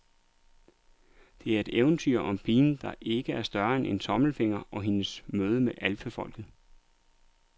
Det er et eventyr om pigen, der ikke er større end en tommelfinger og hendes møde med alfefolket.